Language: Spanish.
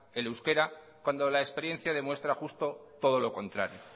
el euskera cuando la experiencia demuestra justo todo lo contrario